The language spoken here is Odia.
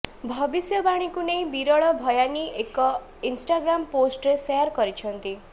ଭବିଷ୍ୟବାଣୀକୁ ନେଇ ବିରଳ ଭୟାନୀ ଏକ ଇନ୍ଷ୍ଟାଗ୍ରାମ ପୋଷ୍ଟରେ ଶେୟାର କରିଛନ୍ତି